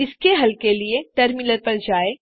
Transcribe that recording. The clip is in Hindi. इसके हल के लिए टर्मिनल पर जाएँ